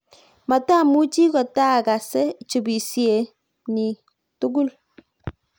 matamuchi kotaagase chubisye niee tugul